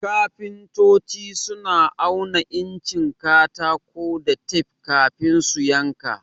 Kafintoci suna auna incin katako da tef kafin su yanka.